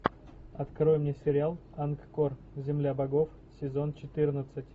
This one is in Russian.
открой мне сериал ангкор земля богов сезон четырнадцать